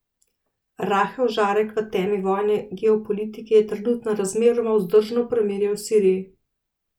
Rahel žarek v temi vojne geopolitike je trenutno razmeroma vzdržno premirje v Siriji.